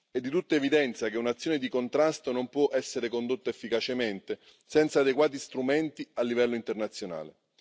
È di tutta evidenza che un'azione di contrasto non può essere condotta efficacemente senza adeguati strumenti a livello internazionale.